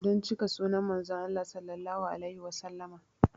Don cika sunnan Manzon Allah Sallallahu alaihi Wasallama